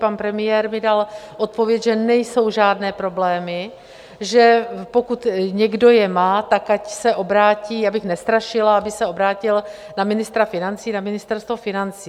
Pan premiér mi dal odpověď, že nejsou žádné problémy, že pokud někdo je má, tak ať se obrátí, abych nestrašila, aby se obrátil na ministra financí, na Ministerstvo financí.